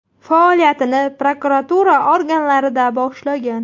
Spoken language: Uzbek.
Faoliyatini prokuratura organlarida boshlagan.